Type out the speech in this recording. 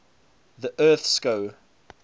the earth skou